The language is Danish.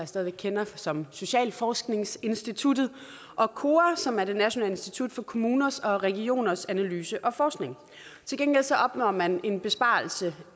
stadig væk kender som socialforskningsinstituttet og kora som er det nationale institut for kommuners og regioners analyse og forskning til gengæld opnår man en besparelse